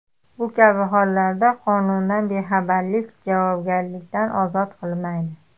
Bu kabi hollarda qonundan bexabarlik javobgarlikdan ozod qilmaydi.